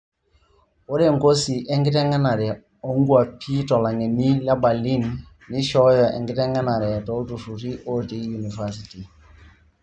Ore nkosi enkitengenare onkwapi tolangeni le Berlin neishoyo enkitengenare toltururi ote univesity.